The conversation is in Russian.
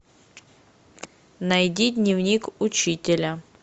найди дневник учителя